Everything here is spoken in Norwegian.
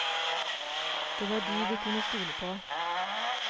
Det var de vi kunne stole på.